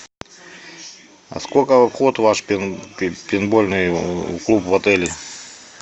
а сколько вход в ваш пейнтбольный клуб в отеле